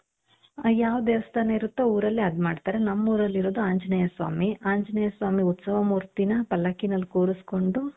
ಯಾವ ದೇವಸ್ಥಾನ ಇರುತ್ತೋ ಊರಲ್ಲಿ ಅದ್ ಮಾಡ್ತಾರೆ ನಮ್ಮೂರಲ್ಲಿ ಇರೋದು ಆಂಜನೇಯ ಸ್ವಾಮಿ ಆಂಜನೇಯ ಸ್ವಾಮಿ ಉತ್ಸವ ಮೂರ್ತಿನ ಪಲ್ಲಕ್ಕಿನಲ್ಲಿ ಕೂರಿಸಿಕೊಂಡು.